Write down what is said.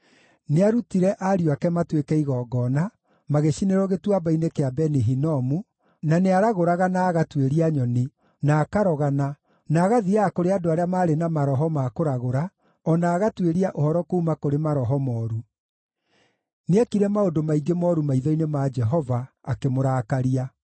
Nĩaarutire ariũ ake matuĩke igongona, magĩcinĩrwo Gĩtuamba-inĩ kĩa Beni-Hinomu, na nĩaragũraga na agatuĩria nyoni, na akarogana, na agathiiaga kũrĩ andũ arĩa maarĩ na maroho ma kũragũra, o na agatuĩria ũhoro kuuma kũrĩ maroho mooru. Nĩekire maũndũ maingĩ mooru maitho-inĩ ma Jehova, akĩmũrakaria.